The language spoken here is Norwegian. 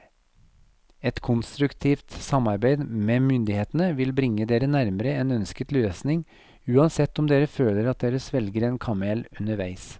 Et konstruktivt samarbeid med myndighetene vil bringe dere nærmere en ønsket løsning, uansett om dere føler at dere svelger en kamel underveis.